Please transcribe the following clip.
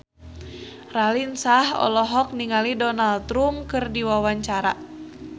Raline Shah olohok ningali Donald Trump keur diwawancara